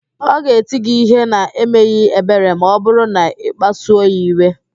Ọ ga-eti gị ihe na-emeghị ebere ma ọ bụrụ na-ịkpasuo ya iwe